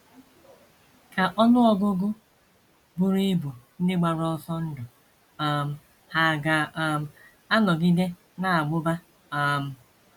Ka ọnụ ọgụgụ buru ibu ndị gbara ọsọ ndụ um hà ga um - anọgide na - amụba? um